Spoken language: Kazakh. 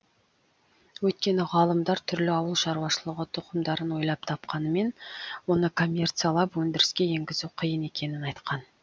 өйткені ғалымдар түрлі ауыл шаруашылығы тұқымдарын ойлап тапқанымен оны коммерциялап өндіріске енгізу қиын екенін айтқан